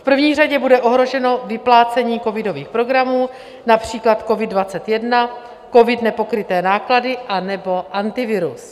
V první řadě bude ohroženo vyplácení covidových programů, například COVID 21, COVID - Nepokryté náklady anebo Antivirus.